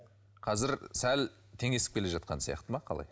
қазір сәл теңесіп келе жатқан сияқты ма қалай